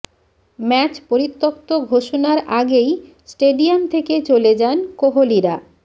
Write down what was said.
match পরিত্যক্ত ঘোষণার আগেই স্টেডিয়াম থেকে চলে যান কোহলিরা